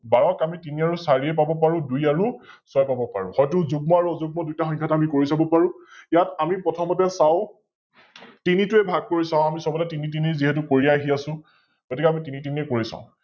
বাৰক আমি তিনি আৰু চাৰিয়ে পাব পাৰো, দুই আৰু ছয় পাব পাৰো, হয়তো যুগ্ম আৰু অযুগ্ম দুইটা সংখ্যাত আমি কৰি চাব পাৰো । ইয়াত আমি প্ৰথমতে চাও, তিনি টোৰে ভাগ কৰি চাও, আমি সৱতে তিনি তিনি যিহেতো কৰি আহি আছো, গতিকে আমি তিনি তিনিয়ে কৰি চাও